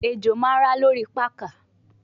Ejo ma ra lori pakà